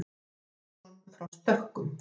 Pétur Jónsson frá Stökkum.